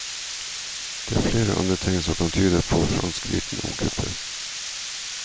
Det er flere andre tegn som kan tyde på fransk viten om kuppet.